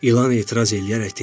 İlan etiraz eləyərək dedi.